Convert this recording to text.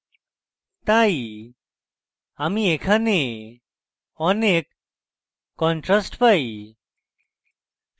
তাই আমি এখানে অনেক contrast পাই